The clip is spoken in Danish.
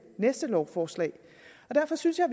næste lovforslag derfor synes jeg